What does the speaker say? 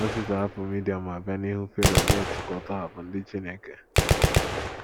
Mozis ahapụ Midian ma bịa n’ihu Fero, na - ekwu ka ọ tọhapụ ndị Chineke.